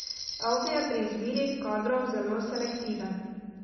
Audi je pri izbiri kadrov zelo selektiven.